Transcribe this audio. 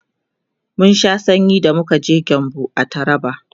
mun Sha sanyi da muka je gembu a taraba